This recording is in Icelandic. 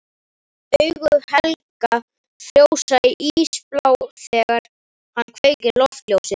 Augu Helga frjósa, ísblá þegar hann kveikir loftljósið.